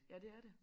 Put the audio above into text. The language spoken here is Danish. Ja det er det